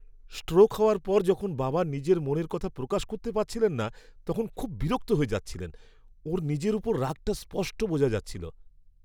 Stroke হওয়ার পর যখন বাবা নিজের মনের কথা প্রকাশ করতে পারছিলেন না তখন খুব বিরক্ত হয়ে যাচ্ছিলেন। ওঁর নিজের ওপর রাগটা স্পষ্ট বোঝা যাচ্ছিল।